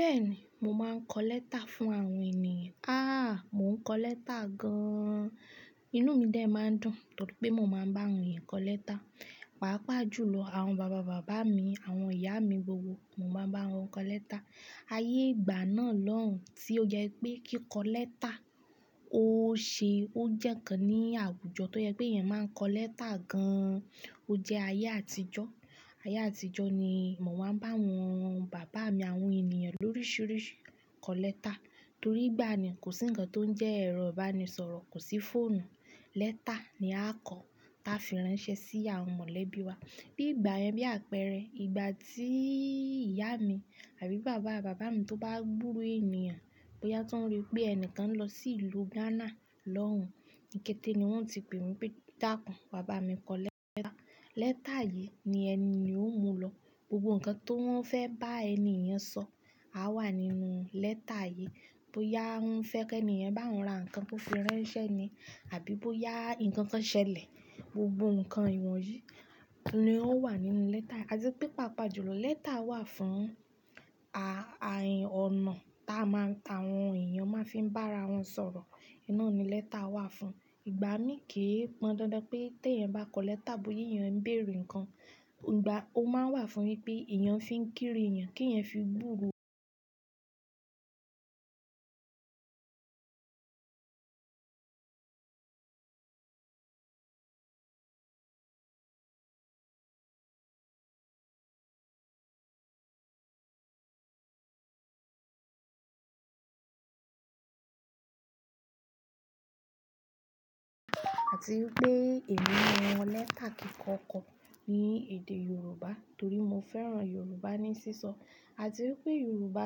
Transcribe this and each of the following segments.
Bẹ́ẹ̀ni, mo máa ń kọ lẹ́tà fún àwọn ènìyàn. Aà! Mò ń kọ lẹ́tà gan-an. Inú mi de máa ń dùn torí pé mò máa ń bá àwọn ènìyàn kọ lẹ́tà. Pàápàá jùlọ àwọn bàbá bàbá mi, àwọn ìyá mi gbogbo, mò máa ń bá wọn kọ lẹ́tà. Ayé ìgbà náà lóhùn tí ó jẹ́ pé kí kọ lẹ́tà ó ṣe ó jẹ́kan ní àwùjọ tó yẹ pé èèyàn máa ń kọ lẹ́tà gan-an. Ó jẹ́ ayé àtijọ́. Ayé àtijọ́ ni mò wá ń bá àwọn bàbá mi, àwọn ènìyàn lóríṣiríṣi kọ lẹ́tà torí ìgbà na kò sí ǹkan tó ń jẹ́ ẹ̀rọ ìbánisọ̀rọ̀, kò sí fóònù. Lẹ́tà ni a kọ, a fi ránṣẹ́ sí àwọn mọ̀lẹ́bí wa. Bí ìgbà yẹn bí àpẹẹrẹ, ìgbà tí ìyá mi àbí bàbá bàbá mi tó bá gburo ènìyàn, bóyá tó ń rí pé ẹnìkan ń lọ sí ìlú Ghana lóhùn, níkẹ́tẹ̀ẹ́ ni wọ́n ti pè mí pé "Dákun, wá bá mi kọ lẹ́tà". Lẹ́tà yìí ni ẹni yen ò mú lọ. Gbogbo ǹkan tó ń fẹ́ bá ẹni yan sọ, á wà nínú lẹ́tà yìí. Bóyá ó ń fẹ́ kí èèyàn bá òun ra ǹkan tó fi ránṣẹ́ ni àbí bóyá ǹkan kan ṣẹlẹ̀, gbogbo ǹkan ìwọ̀n yìí ni ó wà nínú lẹ́tà yìí. A ti pé paapaa jùlọ lẹ́tà wà fún a-a-ain ọ̀nà táa máa ta àwọn èèyàn máa fi ń bá ara wọn sọ̀rọ̀. Oun na ni lẹ́tà wà fún. Ìgbà mí kí í pan dándán pé kí èèyàn bá kọ lẹ́tà bóya èèyàn ń bèèrè ǹkan, ìgbà ó máa wà fún wípé èèyàn fi ń kíri èèyàn kí èèyàn fi búru àti wípé èmi mọ́ ẹ́tà kíkọ kọ ní èdè Yorùbá torí mo fẹ́ràn Yorùbá ní sísọ. Àti wípé Yorùbá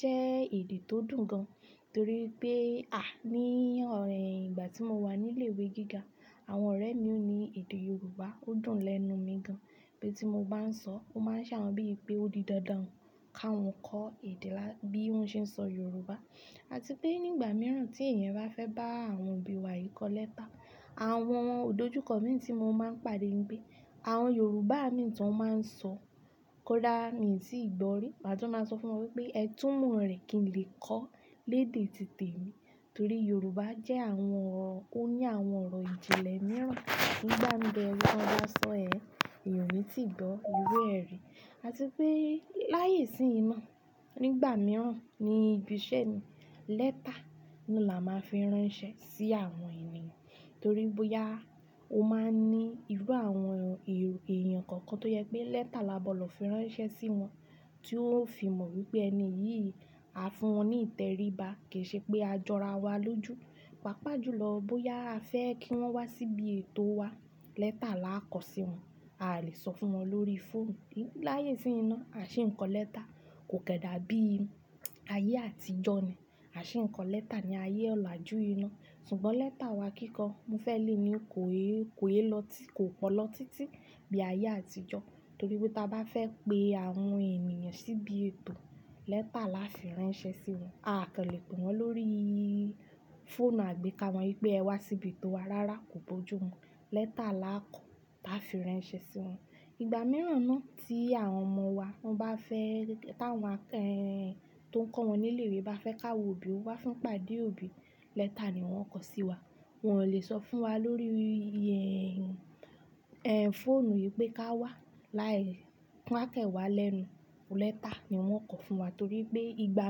jẹ́ èdè tó dùn gan-an torí pé, à ní ọ̀rẹ́ ìgbà tí mo wà ní ilé ìwé gíga, àwọn ọ̀rẹ́ mi ò ní èdè Yorùbá, ó dùn lẹ́nu mi gan-an pé tí mo bá ń sọ, ó máa ń sàwọn bí i pé ó di dandan káwọn kọ èdè lá-- bí wọ́n ṣe ń sọ Yorùbá. Àti pé nígbà mìíràn tí èèyàn bá fẹ́ bá àwọn òbí wa yìí kọ lẹ́tà, àwọn òdojúkọ mi tí mo máa ń pàdé ńi pé, àwọn Yorùbá mi tí wọ́n máa ń sọ, kódà èmi sì gbọ́ rí, màá tún máa sọ fún wọn wípé "ẹ túmọ̀ rẹ̀ kí n lè kọ, léde tìtẹ̀ mi". Torí Yorùbá jẹ́ àwọn ọ̀rọ̀, ó ní àwọn ọ̀rọ̀ ìjìnlẹ̀ mìíràn. Nígbà mi teyan lọ sọ ẹ, èèyàn ò tí ì gbọ́ irú ẹrí. Àti pé láàyè free, nígbà mìíràn níbi iṣẹ́ ni lẹ́tà ni là á máa fi ránṣẹ́ sí àwọn ènìyàn. Torí bóyá ó máa ní irú àwọn èèyàn kankan tó yẹ pé lẹ́tà là á gbọ̀ dọ fi ránṣẹ́ sí wọn, tí ó fi mọ̀ wípé ẹni yìí, a fún wọn ní ìtẹríba kì í ṣe pé a jọra wa lójú. Pàápàá jùlọ bóyá a fẹ́ kí wọ́n wá síbí ètò wa, lẹ́tà là á kọ sí wọn. A lè sọ fún wọn lórí fóònù. Láyé sí inú, à ṣé ń kọ lẹ́tà. Kò kẹ́ dà bí ayé àtijọ́ ni. À ṣé ń kọ lẹ́tà ní ayé ọ̀la jù yi ná. Ṣùgbọ́n lẹ́tà wa kíkọ, mo fẹ́ lè ní kò é, kò é lọ títí, kò pọ lọ títí bí ayé àtijọ́. Torí pé tí a bá fẹ́ pé àwọn ènìyàn síbí ètò, lẹ́tà là á fi ránṣẹ́ sí wọn. A kò lè pè wọ́n lórí fóònù àgbéká wọn wípé "ẹ wá síbí ètò wa" rárá kò bójú wọn. Lẹ́tà là á kọ bá fi ránṣẹ́ sí wọn. Ìgbà mìíràn náà tí àwọn ọmọ wa wọ́n bá fẹ́, táwọn àkẹ́-- èh, tó ń kọ́ wọn nílé ìwé bá fẹ́ ká wo òbí, ó wá fún pàdé òbí, lẹ́tà ni wọ́n ó kọ sí wa. Wọn ò lè sọ fún wa lórí, ẹ́ n, ẹ́ n fóònù wípé ká wá láì wo n à kẹ́ wa lẹ́nu. Lẹ́tà ni wọ́n ó kọ fún wa torí pé ìgbà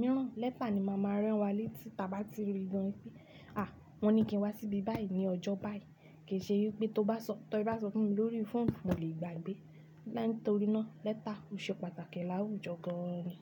mìíràn lẹ́tà ni màá máa rán wa létí tí a bá ti ri dán i pé "à wọ́n ní kí n wá síbí báyìí ní ọjọ́ báyìí". Kì í ṣe wípé tó bá sọ, tó bá sọ fún mi lórí fóònù, mò lè gbàgbé. Lánàá torí náà lẹ́tà ò ṣe pàtàkì láwùjọ gan ni.